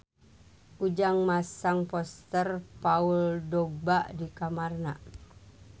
Ujang masang poster Paul Dogba di kamarna